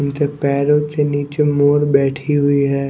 उनके पैरों के नीचे मोर बैठी हुई है।